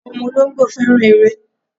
Àwọn ọmọ olóńgbò fẹ́ràn eré.